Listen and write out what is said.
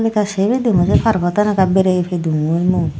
ekka sey pedungoi se pargot ekka berey pedungoi mui.